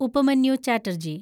Upamanyu Chatterjee